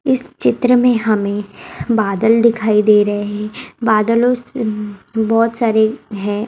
इस चित्र में हमें बादल दिखाई दे रहे हैं बादलों से बहुत सारे हैं।